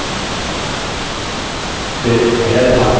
फिर header भाग है